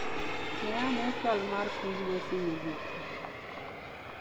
Ne ane chal mar kor lwasi mogiki.